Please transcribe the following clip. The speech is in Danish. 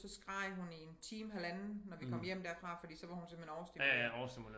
Så skreg hun i en time halvanden når vi kom hjem derfra fordi så var hun simpelthen overstimuleret